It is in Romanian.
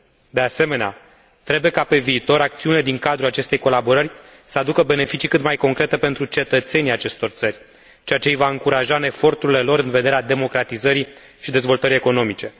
De asemenea, trebuie ca pe viitor acțiunile din cadrul acestei colaborări să aducă beneficii cât mai concrete pentru cetățenii acestor țări, ceea ce îi va încuraja în eforturile lor în vederea democratizării și dezvoltării economice.